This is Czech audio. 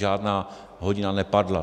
Žádná hodina nepadla.